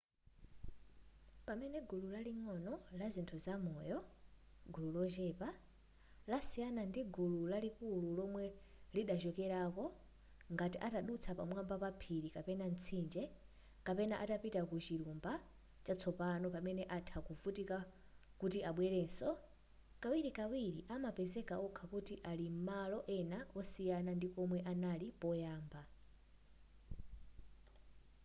pamene gulu laling'ono la zinthu za moyo gulu lochepa lasiyana ndi gulu lalikulu lomwe lidachokerako ngati atadutsa pamwamba pa phiri kapena mtsinje kapena atapita ku chilumba chatsopano pamene atha kuvutika kuti abwelereso kawirikawiri amapezeka okha kuti alim malo ena osiyana ndi komwe anali poyamba